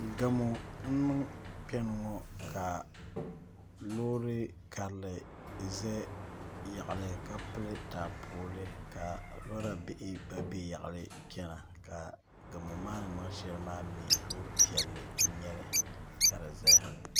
Gamo n niŋ kpɛŋŋo ka loori karili ʒɛ yaɣali ka pili taapooli ka lora bihi gba bɛ yaɣali chɛna ka gamo maa ni niŋ shɛli maa mii loori piɛlli n nyɛli ka di ʒɛya